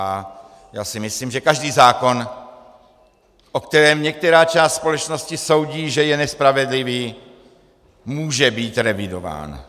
A já si myslím, že každý zákon, o kterém některá část společnosti soudí, že je nespravedlivý, může být revidován.